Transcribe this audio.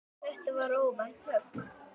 Þetta var óvænt högg.